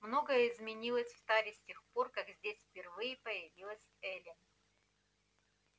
многое изменилось в таре с тех пор как здесь впервые появилась элли